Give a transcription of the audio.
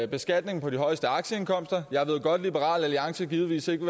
beskatningen på de højeste aktieindkomster jeg ved godt liberal alliance givetvis ikke